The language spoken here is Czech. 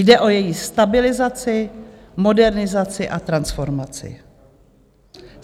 Jde o její stabilizaci, modernizaci a transformaci.